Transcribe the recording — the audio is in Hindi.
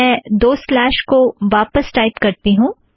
मैं दो स्लॅश को वापस टाइप करती हूँ